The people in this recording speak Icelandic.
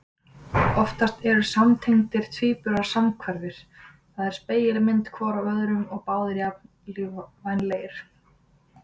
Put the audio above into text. Oftast eru samtengdir tvíburar samhverfir, það er spegilmynd hvor af öðrum og báðir jafn lífvænlegir.